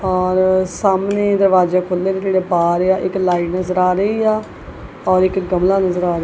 ਔਰ ਸਾਹਮਣੇ ਦਰਵਾਜ਼ੇ ਖੋਲੇ ਜਿਹੜੇ ਪਾ ਰਹੇ ਆ ਇੱਕ ਲਾਈਟ ਨਜ਼ਰ ਆ ਰਹੀ ਆ ਔਰ ਇਕ ਗਮਲਾ ਨਜ਼ਰ ਆ ਰਿਹਾ।